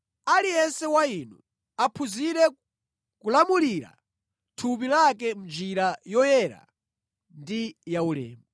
aliyense wa inu aphunzire kulamulira thupi lake mʼnjira yoyera ndi yaulemu,